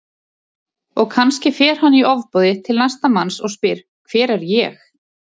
Og kannski fer hann í ofboði til næsta manns og spyr Hver er ég?